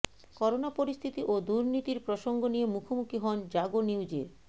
corona পরিস্থিতি ও দুর্নীতির প্রসঙ্গ নিয়ে মুখোমুখি হন জাগো নিউজের